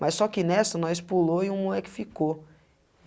Mas só que nessa nós pulou e um moleque ficou.